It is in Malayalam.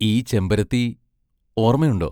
ഈ ചെമ്പരത്തി ഓർമയുണ്ടോ?